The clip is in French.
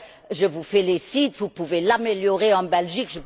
Je vous félicite, vous pouvez l'améliorer en Belgique.